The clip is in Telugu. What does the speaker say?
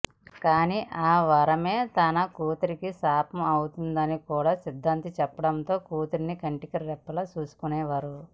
కానీ ఆ వరమే తన కూతురుకి శాపం అవుతుందని కూడా సిద్ధాంతి చెప్పడంతో కూతురిని కంటికిరెప్పలా చూసుకునేవారు